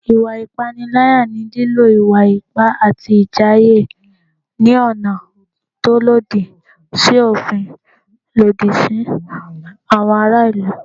Ìwà ìpániláyà ni lílò ìwà ipá àti ìjàyè ní ọ̀nà tó lòdì sí òfin lòdì sí àwọn ará ìlú